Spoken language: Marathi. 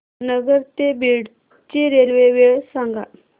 नगर ते बीड ची रेल्वे वेळ सांगा